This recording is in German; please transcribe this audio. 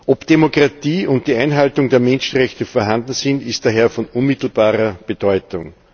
Ob Demokratie und die Einhaltung der Menschenrechte vorhanden sind, ist daher von unmittelbarer Bedeutung.